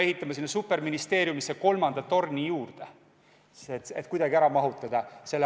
Siis peaksime superministeeriumile ehitama juurde kolmanda torni, et uue ameti sekretariaat kuidagi ära mahutada.